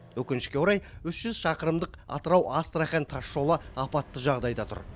өкінішке орай үш жүз шақырымдық атырау астрахань тасжолы апатты жағдайда тұр